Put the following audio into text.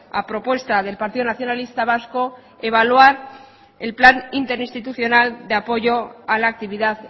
a propuesta del partido nacionalista vasco evaluar el plan interinstitucional de apoyo a la actividad